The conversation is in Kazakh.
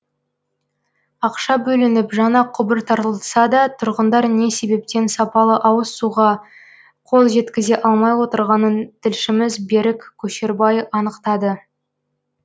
ақша бөлініп жаңа құбыр тартылса да тұрғындар не себептен сапалы ауыз суға қол жеткізе алмай отырғанын тілшіміз берік көшербай анықтады